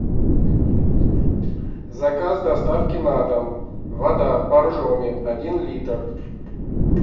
заказ доставки на дом вода боржоми один литр